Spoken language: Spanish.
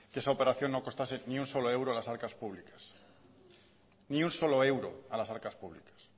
que esa operación no costase ni un solo euro a las arcas públicas ni un solo euro a las arcas públicas